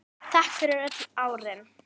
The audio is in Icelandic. Takk fyrir öll árin.